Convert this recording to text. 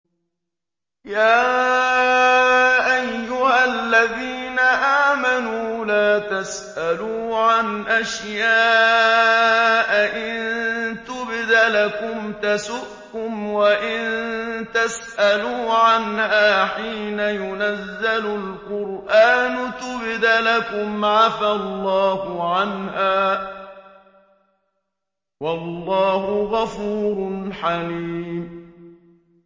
يَا أَيُّهَا الَّذِينَ آمَنُوا لَا تَسْأَلُوا عَنْ أَشْيَاءَ إِن تُبْدَ لَكُمْ تَسُؤْكُمْ وَإِن تَسْأَلُوا عَنْهَا حِينَ يُنَزَّلُ الْقُرْآنُ تُبْدَ لَكُمْ عَفَا اللَّهُ عَنْهَا ۗ وَاللَّهُ غَفُورٌ حَلِيمٌ